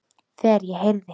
Þegar ég heyrði